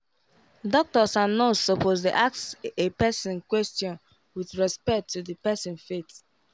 doctors and nurse supposed dey ask a person question with respect to the person faith